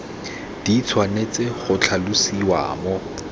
di tshwanetse go tlhalosiwa mo